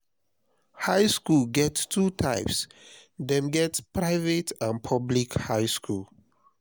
high school get two kinds dem get private and public high school